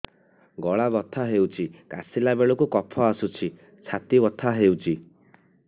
ଗଳା ବଥା ହେଊଛି କାଶିଲା ବେଳକୁ କଫ ଆସୁଛି ଛାତି ବଥା ହେଉଛି